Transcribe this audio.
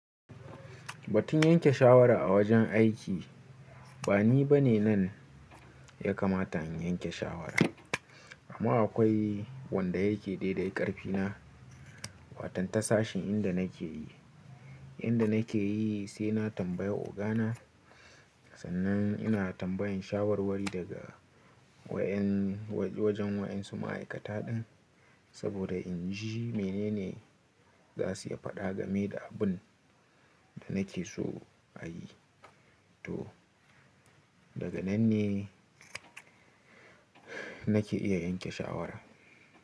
Ba tun yanke shawara a wajen aiki, ba ni bane nan ya kamata in yanke shawara. Amma akwai wanda yake daidai ƙarfi na, watan ta sashin inda nake yi. Inda nake yi sai na tambayi ogana, sannan ina tambayan shawarwari daga wayen wajen wayan su ma'aikata ɗin, saboda in ji menene za su iya faɗa game da abun da nake so a yi. To, daga nan ne nake iya yanke shawara.